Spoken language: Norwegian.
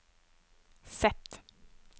Z